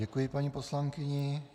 Děkuji paní poslankyni.